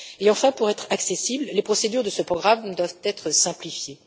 Enfin, pour être accessibles, les procédures de ce programme doivent être simplifiées.